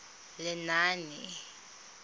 lenaane